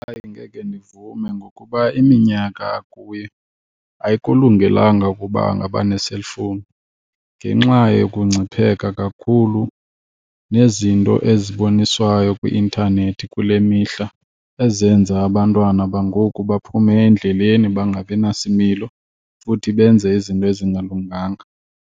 Hayi, angeke ndivume ngokuba iminyaka akuyo ayikulungelanga ukuba angaba ne-cellphone, ngenxa yokungcipheka kakhulu nezinto eziboniswayo kwi-intanethi kule mihla ezenza abantwana bangoku baphume endleleni, bangabi nasimilo, futhi benze izinto ezingalunganga.